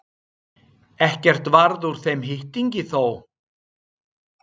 Ekkert varð úr þeim hitting þó.